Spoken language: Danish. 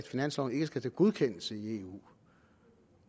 finansloven ikke skal til godkendelse i eu